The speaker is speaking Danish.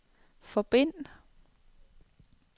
forbind